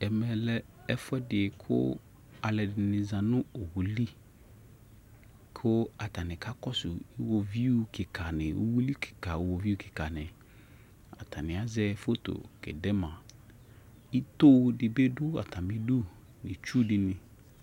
Ɛmɛ lɛ ɛfuɛdi kʋ alʋɛdini za nʋ owu li kʋ atani kakɔsʋ iwɔviu kika ni, uwili kika, uwoviʋ kika ni Atani azɛ foto kɛde ma Ito dibi dʋ atami du, itsu dini